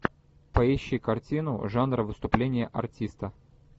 поищи картину жанра выступление артиста